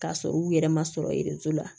K'a sɔrɔ u yɛrɛ ma sɔrɔ ye so la